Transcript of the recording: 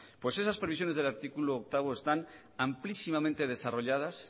pues esas previsiones del artículo ocho están amplísimamente desarrolladas